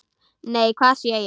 Nei, hvað sé ég!